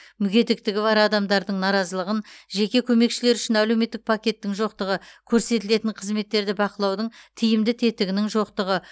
мүгедектігі бар адамдардың наразылығын жеке көмекшілер үшін әлеуметтік пакеттің жоқтығы көрсетілетін қызметтерді бақылаудың тиімді тетігінің жоқтығы